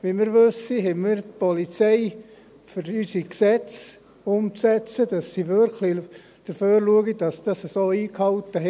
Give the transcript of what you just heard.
Wie wir wissen, haben wir die Polizei, um unsere Gesetze umzusetzen, damit sie wirklich dafür sorgen, dass es so eingehalten